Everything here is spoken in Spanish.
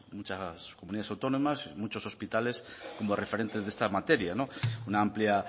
muchas comunidades autónomas muchos hospitales como referentes de esta materia una amplia